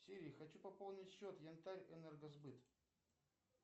сири хочу пополнить счет янтарьэнергосбыт